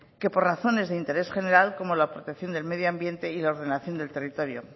que por razones de interés general como la protección de medio ambiente y la ordenación del territorio